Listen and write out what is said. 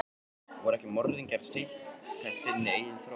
Voru ekki morðingjarnir að seinka sinni eigin þróun?